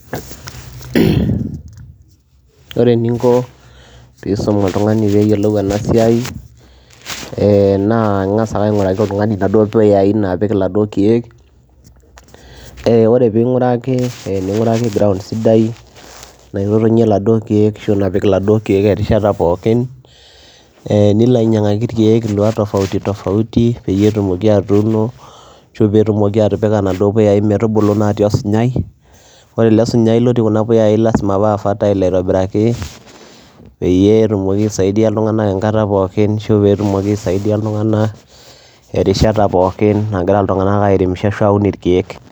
Ore eninko piisum oltung'ani peeyolou ena siai ee naa ing'asa ake aing'uraki oltung'ani naduo puyai naapik iladuo keek, ee ore ping'uraki ning'uraki ground sidai naitotonye laduo keek ashu naapik laduo keek erishata pokin, ee nilo ainyang'aki irkeek ilua tofauti tofauti, peyie etumoki atuuno ashu peetumoki atipika naduo puyai metubulu naatii osunyai, ore ele sunyai lotii kuna puyai lazima paa fertile aitobiraki peyie etumoki aisaidia iltung'anak enkata pookin ashu peetumoki aisaidia iltung'anak erishata pookin nagira iltung'anak airemisho ashu aun irkeek.